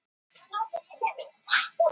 Liðið sýndi álíka karakter í kvöld.